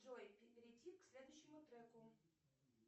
джой перейти к следующему треку